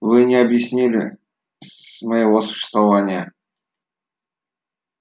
вы не объяснили моего существования